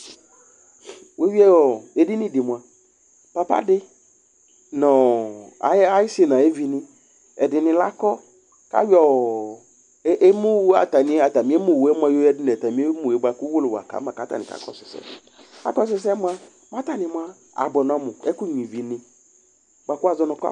Wueyʋɩ edini di mua, papa di nʋ ayisi nʋ ayevi ni ɛdɩnɩ la akɔ Ayɔ atami emuwʋ yɛ mua yoyǝdu nʋ atami emu yɛ bʋakʋ uwolowu aka ma, kʋ atani kakɔsʋ ɛsɛ Akɔsʋ ɛsɛ mua, kʋ atani abʋe amu Ɛkʋnyʋa ivi ni, bʋakʋ wʋazɔ nʋ kɔpʋ